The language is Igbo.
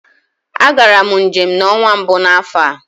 A gara m njem n'ọnwa mbụ n'afọ a.